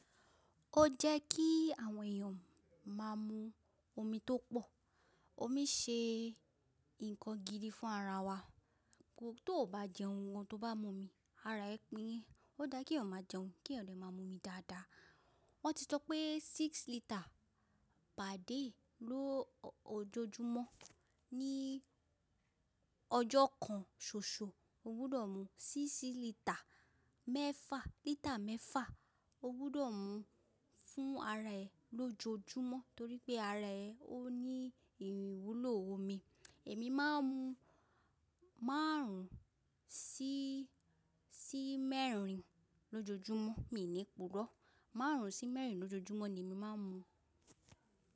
Ó jẹ́ kí àwọn èèyàn máa mú omi tó pọ̀. Omi ṣe nǹkan gidi fún ara wa. Tò ó ba jẹun, gan tó bá mo omi ara ẹ pín yẹn. Ó dára kí ẹyan má jẹun kí èèyàn lè má mú omi dáadáa. Wọ́n ti sọ pé six litre per day lójoójúmọ́. Ní ọjọ́ kan ṣoṣo, o gbúdọ̀ mú síṣí lítà mẹ́fà, lítà mẹ́fà o gbúdọ̀ mú fún ara ẹ lójoójúmọ́ torí pé ara ẹ ó ní ìwúlò omi. Èmi má ń mú márùn ún sí mẹ́rin lójoójúmọ́, mi ò ní ipurọ. Márùn ún sí mẹ́rin lójoójúmọ́ ni èmi má ń mú.